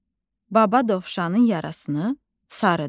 Baba dovşanın yarasını sarıdı.